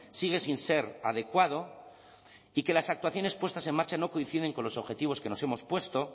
sigue sin ser adecuado y que las actuaciones puestas en marcha no coinciden con los objetivos que nos hemos puesto